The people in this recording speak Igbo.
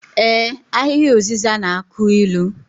Ee, Ahịhịa ụzịza na-akụ ilu